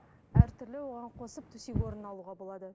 әртүрлі оған қосып төсек орын алуға болады